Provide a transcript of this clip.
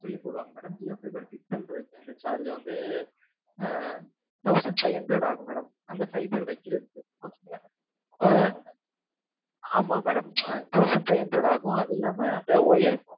தனியா போடுவாங்க madam Jio fiber fit பண்றதுக்கு அந்த charge வந்து ஆஹ் thousand five hundred ஆகும் madam அந்த fiber வைப்பதற்கு ஆஹ் ஆமாம் madam thousand five hundred ஆகும் அது இல்லாமல் அந்த wire